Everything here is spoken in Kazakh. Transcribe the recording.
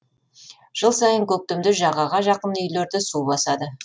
жыл сайын көктемде жағаға жақын үйлерді су басады